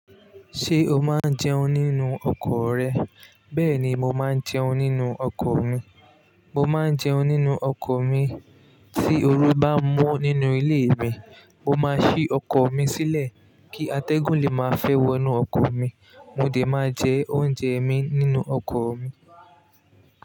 Ṣé o máa ń jẹun nínú ọkọ rẹ? Bẹ́ẹ̀ ni mo máa ń jẹun nínú ọkọ̀ mi. Mo máa ń jẹun nínú ọkọ̀ mi. Tí ooru bá mu nínú ilé mi, mo máa ṣí ọkọ mi sílẹ̀ kí atẹ́gùn lè máa fẹ́ wọnú ọkọ̀ mi. Mo dè máa jẹ oúnjẹ mi nínú ọkọ̀ mi.